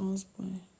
11 points